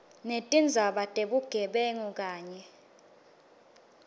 netindzaba tebugebengu kanye